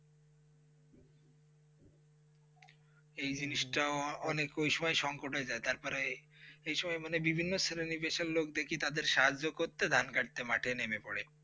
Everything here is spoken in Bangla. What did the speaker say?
এই জিনিসটাও অনেকের সঙ্গে সংকট হয়ে যায় তারপরে এই সময় মানে বিভিন্ন স্থানে নিবেশের লোক দেখি তাদেরকে সাহায্য করতে ধান ধান কাটতে মাটিয়ে নিবে পোরে.